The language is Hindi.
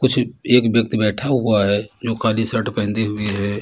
कुछ एक व्यक्ति बैठा हुआ है जो काली शर्ट पहदे हुई है।